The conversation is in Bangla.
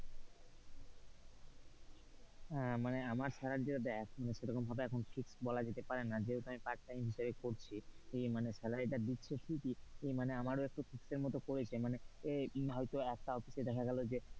মানে আমার salary টা দেখ সেরকম ভাবে এখন fixed বলা যেতে পারে না যেহেতু আমি part time হিসাবে করছি ই মানে salary তা দিচ্ছে ঠিকই মানে আমার একটু system মতো করেছে.